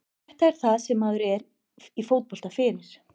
Þetta er það sem maður er í fótbolta fyrir.